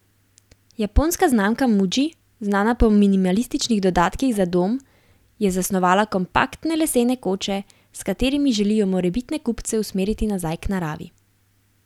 Japonska znamka Muji, znana po minimalističnih dodatkih za dom, je zasnovala kompaktne lesene koče, s katerimi želijo morebitne kupce usmeriti nazaj k naravi.